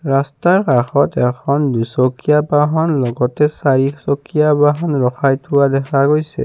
ৰাস্তাৰ কাষতে এখন দুচকীয়া বাহন লগতে চাৰিচকীয়া বাহন ৰখাই থোৱা দেখা গৈছে।